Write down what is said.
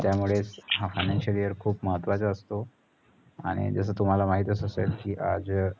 त्यामुळेच हा financial year खूप महत्त्वाचा असतो. आणि जस तुम्हाला माहितच असेल कि, आज